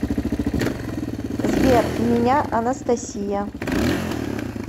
сбер меня анастасия